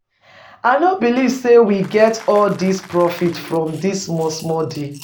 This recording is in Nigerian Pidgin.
I no believe say we get all dis profit from dat small deal